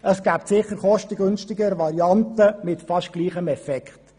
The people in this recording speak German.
Sicher gibt es kostengünstigere Varianten mit nahezu gleichem Effekt.